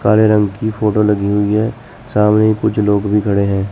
काले रंग की फोटो लगी हुई है सामने कुछ लोग भी खड़े हैं।